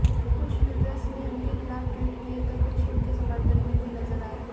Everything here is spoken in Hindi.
कुछ यूजर्स ने उनके खिलाफ ट्वीट किए तो कुछ उनके समर्थन में भी नजर आए